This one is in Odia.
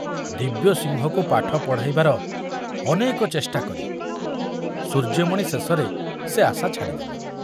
ଦିବ୍ୟସିଂହକୁ ପାଠ ପଢ଼ାଇବାର ଅନେକ ଚେଷ୍ଟା କରି ସୂର୍ଯ୍ୟମଣି ଶେଷରେ ସେ ଆଶା ଛାଡ଼ି ଦେଲେ।